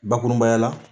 Bakurubaya la